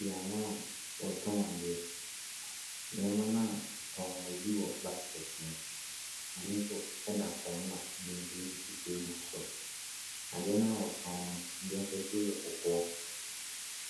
Beaeɛ a wɔtɔn adeɛ. Nneɛma no a wɔtɔn no bi wɔ basket mu, ebi nso da fam na ebi nso sisi table so. Adeɛ no a wɔtɔn no ebi afasuo yɛ kɔkɔɔ,